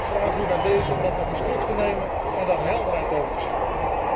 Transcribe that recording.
Dus ik vraag u bij dezen dat nog eens terug te nemen en daar helderheid over te scheppen.